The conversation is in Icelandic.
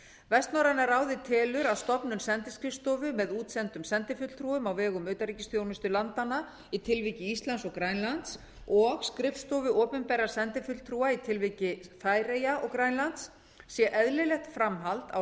vestnorræna ráðið telur að stofnun sendiskrifstofu með útsendum sendifulltrúum á vegum utanríkisþjónustu landanna í tilviki íslands og grænlands og skrifstofu opinberra sendifulltrúa í tilviki færeyja og grænlands sé eðlilegt framhald á